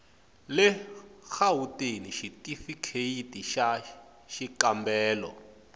le gauteng xitifikheyiti xa xikambelo